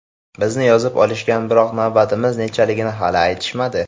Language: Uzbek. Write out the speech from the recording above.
Bizni yozib olishgan, biroq navbatimiz nechaligini hali aytishmadi.